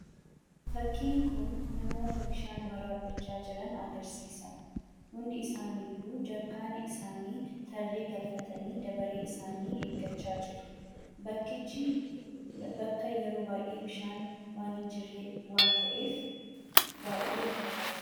Fakkiin kun namoota bishaan waraabbachaa jiran agarsiisa. Hundi isaaniiyyuu jarkaana isaanii tarree galfatanii dabaree isaanii eeggachaa jiru. Bakkichi bakka yeroo baay'ee bishaan waan hin jirre waan ta'eef, baay'ee rakkataa jiru.